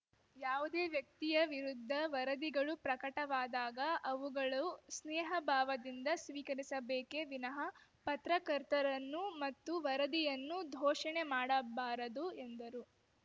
ಯಾವುದೇ ವ್ಯಕ್ತಿಯ ವಿರುದ್ಧ ವರದಿಗಳು ಪ್ರಕಟವಾದಾಗ ಅವುಗಳು ಸ್ನೇಹ ಭಾವದಿಂದ ಸ್ವೀಕರಿಸಿಬೇಕೆ ವಿನಃ ಪತ್ರಕರ್ತರನ್ನು ಮತ್ತು ವರದಿಯನ್ನು ಧೋಷಣೆ ಮಾಡಬಾರದು ಎಂದರು